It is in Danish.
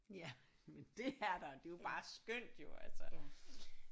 Ja men det er der og det er jo bare skønt jo altså